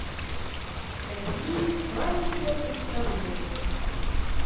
найди маленькое представление